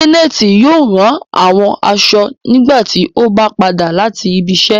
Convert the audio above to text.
Janẹtì yóò rá awọn aṣọ̀ nígbàtí ọ bá padà lati ibìíṣẹ